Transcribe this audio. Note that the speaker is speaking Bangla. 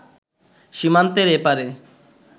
সীমান্তের এপারে